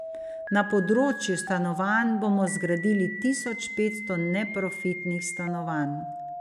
Na področju stanovanj bomo zgradili tisoč petsto neprofitnih stanovanj.